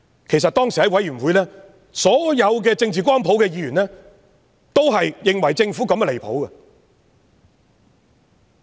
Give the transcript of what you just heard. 其實當時在小組委員會上，所有政治光譜的議員都認為政府此舉相當離譜。